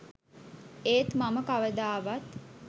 ඒත් මම කවදාවත්